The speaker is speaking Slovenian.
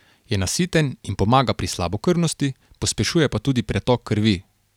Je nasiten in pomaga pri slabokrvnosti, pospešuje pa tudi pretok krvi.